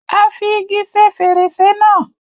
Á fi igi ṣe fèrèsé náà.